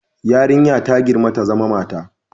Yarinya ta girma ta zama mata